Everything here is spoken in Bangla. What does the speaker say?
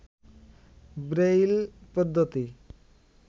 ব্রেইল পদ্ধতি